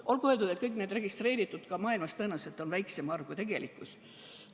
Olgu öeldud, et kõikide nende registreeritud juhtude arv, ka mujal maailmas, on tõenäoliselt väiksem kui tegelike juhtude hulk.